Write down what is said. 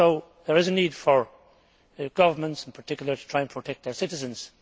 There is a need for governments in particular to try to protect their citizens.